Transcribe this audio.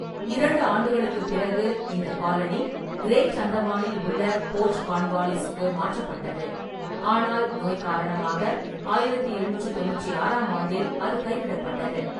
இரண்டு ஆண்டுகளுக்குப் பிறகு இந்த காலனி கிரேட் அந்தமானில் உள்ள போர்ட் கான்வாலிஸுக்கு மாற்றப்பட்டது, ஆனால் நோய் காரணமாக ஆயிரத்தி எழுநூற்றி தொண்ணூற்றி ஆறாம் ஆண்டில் அது கைவிடப்பட்டது.